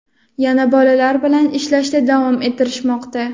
yana bolalar bilan ishlashda davom etishmoqda.